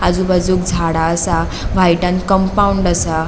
आजू बाजूक झाड़ा असा व्हाईटनं कम्पाउन्ड असा.